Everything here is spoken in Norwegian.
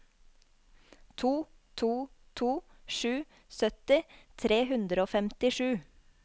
to to to sju sytti tre hundre og femtisju